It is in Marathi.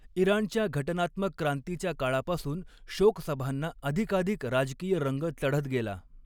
इराणच्या घटनात्मक क्रांतीच्या काळापासून, शोक सभांना अधिकाधिक राजकीय रंग चढत गेला.